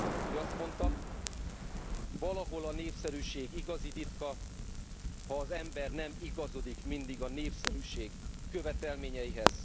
Ő azt mondta Valahol a népszerűség igazi titka, ha az ember nem igazodik mindig a népszerűség követelményeihez.